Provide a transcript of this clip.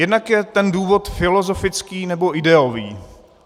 Jednak je ten důvod filozofický, nebo ideový.